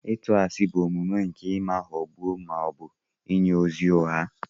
Ịtu ashi bụ omume nke ụma ghọgbuo ma ọ bụ inye ozi ụgha.